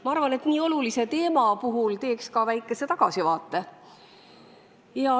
Ma arvan, et nii olulise teema puhul võiks teha väikese tagasivaate.